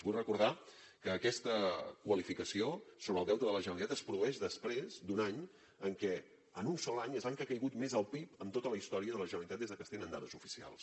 vull recordar que aquesta qualificació sobre el deute de la generalitat es produeix després d’un any en què en un sol any és l’any que ha caigut més el pib en tota la història de la generalitat des que es tenen dades oficials